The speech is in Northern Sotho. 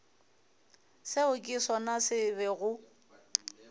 seo ke sona se bego